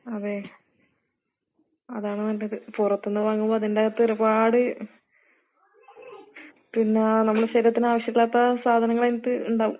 അതേ. അതാണ് നല്ലത്. പുറത്ത്ന്ന് വാങ്ങുമ്പോ അതിന്റകത്തൊരുപാട് പിന്നാ നമ്മടെ ശരീരത്തിനാവശ്യീല്ലാത്ത സാധനങ്ങളതിന്റകത്ത് ഇണ്ടാവും.